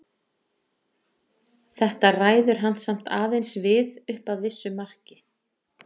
Þetta ræður hann samt aðeins við upp að vissu marki.